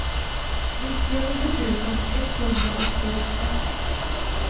nittionio tusen etthundraåttioåtta